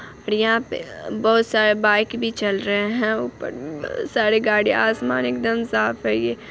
और यहाँ पे बहुत सारे बाइक भी चल रहे हैं । ऊपर उ सारे गाड़ी आसमान एकदम साफ है ये।